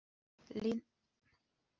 Ninna, lækkaðu í græjunum.